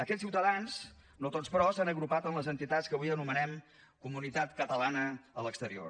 aquests ciutadans no tots però s’han agrupat en les entitats que avui anomenem comunitat catalana a l’exterior